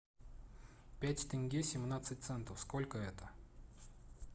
пять тенге семнадцать центов сколько это